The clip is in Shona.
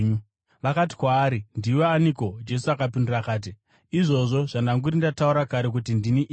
Vakati kwaari, “Ndiwe aniko?” Jesu akapindura akati, “Izvozvo zvandanguri ndataura kare kuti ndini iye.